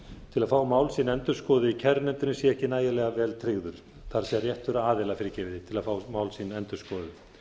til að fá mál sín endurskoðuð í kærunefndinni sé ekki nægilega vel tryggður það er réttur aðila fyrirgefiði til að fá mál sín endurskoðuð